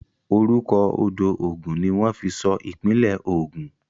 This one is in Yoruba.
Orúkọ odò Ogun ní wọ́n fi sọ ìpínlẹ̀ Ogun.